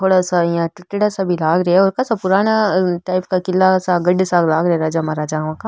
थोड़ा सा इया टूट्योड़ा सा भी लाग रिया है और काशा पुराना टाइप का किला सा गढ़ सा लाग रिया है राजा महाराजाओं का।